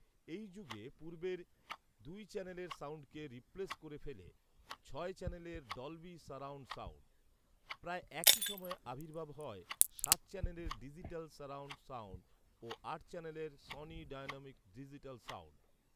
এই যুগে পূর্বের দুই চ্যানেলের সাউন্ডকে রিপ্লেস করে ফেলে ছয় চ্যানেলের ডলবি সারাউন্ড সাউন্ড। প্রায় একই সময়ে আবির্ভাব হয় সাত চ্যানেলের ডিজিটাল সারাউন্ড সাউন্ড ও আট চ্যানেলের সনি ডায়নামিক ডিজিটাল সাউন্ড